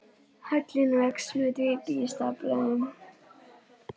Hallinn vex með dýpi í staflanum.